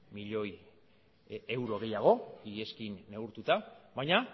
milioi euro gehiago iazekin neurtuta baina